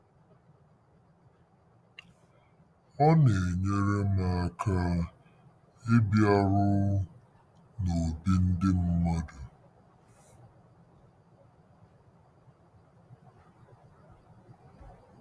Ọ Na-enyere M Aka Ịbịaru n'Obi Ndị Mmadụ